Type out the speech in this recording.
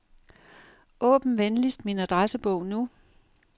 Åbn venligst min adressebog nu.